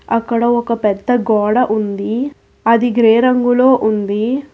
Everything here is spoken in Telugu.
అక్కడ ఒక పెద్ద గోడ ఉంది అది గ్రే రంగులో ఉంది.